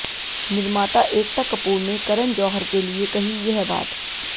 निर्माता एकता कपूर ने करण जौहर के लिए कही यह बात